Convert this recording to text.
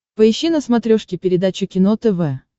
поищи на смотрешке передачу кино тв